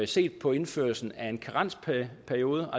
set på indførelsen af en karensperiode